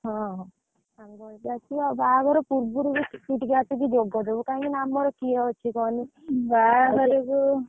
ହଁ ହଁ ହଉ ରହିଲି ତୁ ବାହାଘର ପୂର୍ବରୁ ତୁ ଟିକେ ଆସିକି ଯୋଗ ଦେବୁ କାହିଁ କି ନାଁ ଆମର କିଏ ଅଛନ୍ତି କହନି ବାହାଘର କୁ ହଁ ଚେଷ୍ଟା କରିବି।